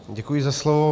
Děkuji za slovo.